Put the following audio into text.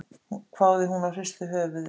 hváði hún og hristi höfuðið.